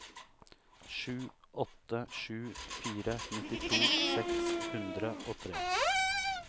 sju åtte sju fire nittito seks hundre og tre